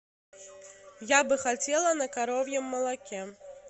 я бы хотела на коровьем молоке